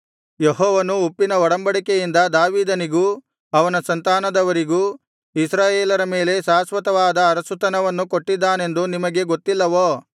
ಯೆಹೋವನು ಉಪ್ಪಿನ ಒಡಂಬಡಿಕೆಯಿಂದ ದಾವೀದನಿಗೂ ಅವನ ಸಂತಾನದವರಿಗೂ ಇಸ್ರಾಯೇಲರ ಮೇಲೆ ಶಾಶ್ವತವಾದ ಅರಸುತನವನ್ನು ಕೊಟ್ಟಿದ್ದಾನೆಂದು ನಿಮಗೆ ಗೊತ್ತಿಲ್ಲವೋ